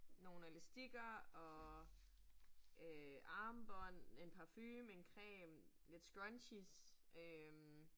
Nogle elastikker og øh armbånd, en parfume, en creme, lidt scrunchies øh